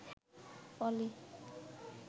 পলি